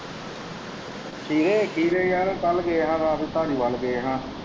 ਖੀਰੇ ਖੀਰੇ ਯਾਰ ਕੱਲ੍ਹ ਗਏ ਹਾਂ ਰਾਤ ਧਾਲੀਵਾਲ ਗਏ ਹਾਂ।